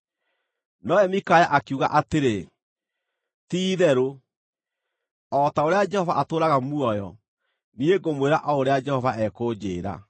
Nowe Mikaya akiuga atĩrĩ, “Ti-itherũ o ta ũrĩa Jehova atũũraga muoyo, niĩ ngũmwĩra o ũrĩa Jehova ekũnjĩĩra.”